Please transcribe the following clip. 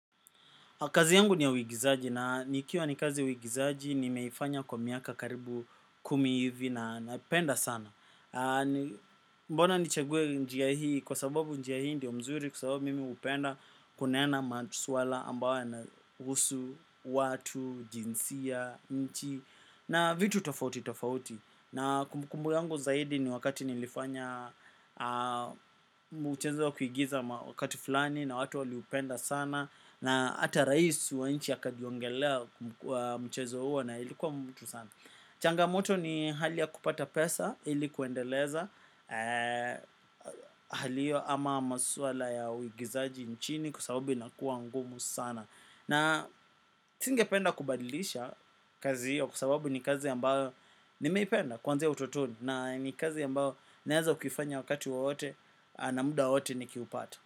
Kazi yangu ni ya uigizaji na ikiwa ni kazi uigizaji nimeifanya kwa miaka karibu kumi hivi na naipenda sana. Mbona ni chague njia hii kwa sababu njia hii ndio mzuri kwa sababu mimi upenda kunena maswala ambayo yanahusu, watu, jinsia, nchi na vitu tofauti tofauti. Na kumbukumbu yangu zaidi ni wakati nilifanya mchezo wa kuigiza wakati fulani na watu waliupenda sana na ata rais wa inchi ya akaniongelea mchezo huo na ilikuwa mtu sana changamoto ni hali ya kupata pesa ilikuendeleza hali hio ama maswala ya uigizaji nchini kwa sababu inakuwa ngumu sana na singe penda kubadilisha kazi hiyo kwa sababu ni kazi ambao nimeipenda kuanzia utotoni na ni kazi ambao naeza kuifanya wakati wowote na muda wowote ni kiupata.